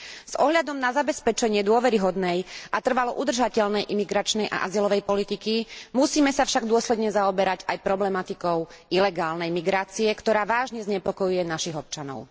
S ohľadom na zabezpečenie dôveryhodnej a trvalo udržateľnej imigračnej a azylovej politiky musíme sa však dôsledne zaoberať aj problematikou ilegálnej migrácie, ktorá vážne znepokojuje našich občanov.